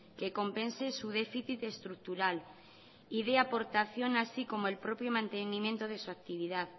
que compense su déficit estructural y dé aportación así como el propio mantenimiento de su actividad